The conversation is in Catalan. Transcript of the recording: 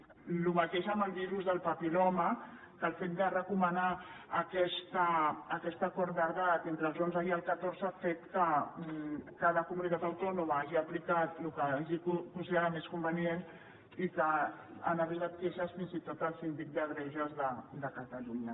això mateix amb el virus del papil·loma que el fet de recomanar aquest acord d’edat entre els onze i els catorze ha fet que cada comunitat autònoma hagi aplicat el que hagi considerat més convenient i que han arribat queixes fins i tot al síndic de greuges de catalunya